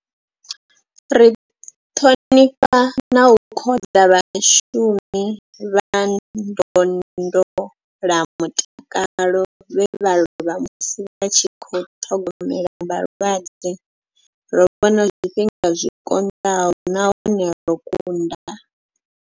Ri ṱhonifha na u khoḓa vhashumi vha ndondolamutakalo vhe vha lovha musi vha tshi khou ṱhogomela vhalwadze. Ro vhona zwifhinga zwi konḓaho nahone ro kunda.